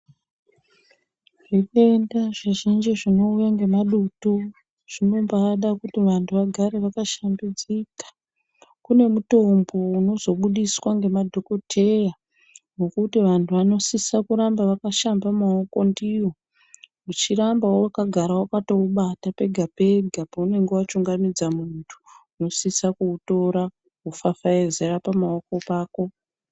Zvitenda zvizhinji zvinouya ngemadutu, zvinombaada kuti vantu vagare vaka shambidzika. Kune mutombo unozo budiswa ngema dhokodheya, wekuti vantu vano sise kuramba vakashamba maoko ndiwo. Uchiramba wakagara wakato ubata pega pega paunonga wachungamidza muntu, uno sise kuutora, wofafaizira pamaoko ako.